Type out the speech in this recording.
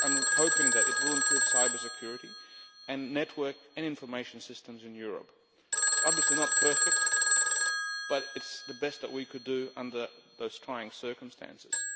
I am hoping that it will improve cyber security and network and information systems in Europe. It is obviously not perfect, but it is the best that we could do under those trying circumstances.